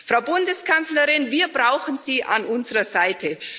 Frau Bundeskanzlerin, wir brauchen Sie an unserer Seite.